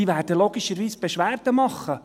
Sie werden logischerweise Beschwerde machen.